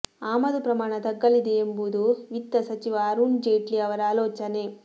ಆಮದು ಪ್ರಮಾಣ ತಗ್ಗಲಿದೆ ಎಂಬುದು ವಿತ್ತ ಸಚಿವ ಅರುಣ್ ಜೇಟ್ಲಿ ಅವರ ಆಲೋಚನೆ